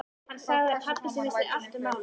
Hann sagði að pabbi sinn vissi allt um málið.